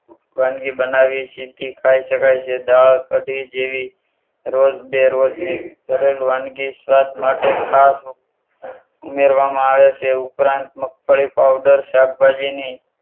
વાનગી બનાવી સીધી ખાઈ શકાય છે. દાળ કઢી જેવી રોજ બેરોજની સરળ વાનગી સ્વાદ માટે ખાસ ઉમેરવામાં આવે છે. એ ઉપરાંત મગફળી પાવડર શાકભાજી ની